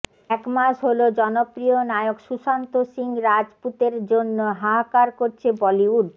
এক মাস হলো জনপ্রিয় নায়ক সুশান্ত সিং রাজ পুতের জন্য হাহাকার করছে বলিউড